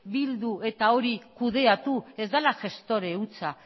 bildu eta hori kudeatu ez dela gestora hutsa